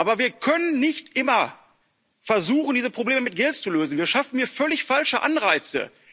Aber wir können nicht immer versuchen, diese Probleme mit Geld zu lösen, wir schaffen hier völlig falsche Anreize.